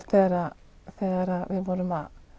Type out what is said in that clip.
þegar við vorum